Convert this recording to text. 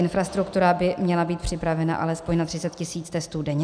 Infrastruktura by měla být připravena alespoň na 30 tisíc testů denně.